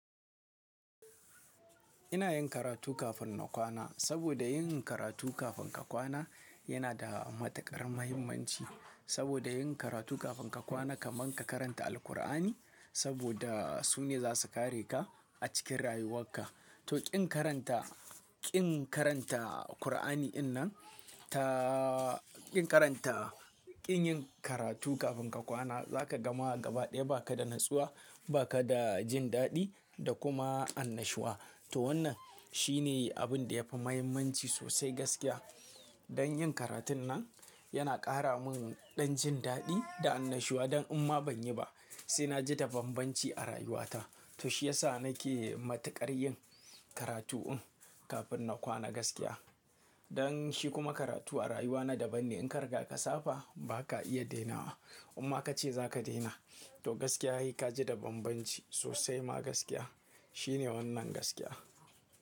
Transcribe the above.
Ina yin karatu kafin na kwana, saboda yin karatu kafin ka kwana yana da matuƙar muhimmanci. Saboda yin karatu kafin ka kwana kaman ka karanta Alkur'ani, saboda su ne za su kare ka a cikin rayuwakka. To ƙin karanta, ƙin karanta Kur'ani in nan taa ƙin karanta, ƙin yin karatu kafin ka kwana, za ka gama gaba ɗaya ba ka da natsuwa, ba ka da jin daɗi da kuma annashuwa. To wannan shi ne abin da yafi mahimmanci sosai gaskiya. Don yin karatun nan yana ƙara mun ɗan jin daɗi da annashuwa, dan in ma ban yi ba sai na ji ta banbanci a rayuwata. To shi ya sa nake matuƙar yin karatu in kafin na kwana gaskiya. Don shi kuma karatu a rayuwana daban ne. In ka riga ka saba, ba ka iya daina wa. Amma ka ce za ka daina. To gaskiya he ka ji da bambanci sosai ma gaskiya. Shi ne wannan gaskiya.